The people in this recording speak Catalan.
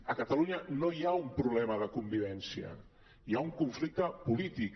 a catalunya no hi ha un problema de convivència hi ha un conflicte polític